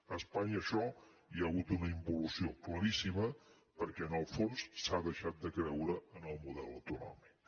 a espanya en això hi ha hagut una involució claríssima perquè en el fons s’ha deixat de creure en el model autonòmic